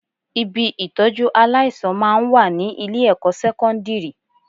Ibi ìtọ́jú aláìsàn máa ń wà ní ilé-ẹ̀kọ́ sẹ́kọ́ndírì